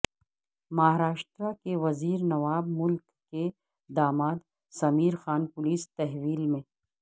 مہاراشٹرا کے وزیر نواب ملک کے داماد سمیر خان پولیس تحویل میں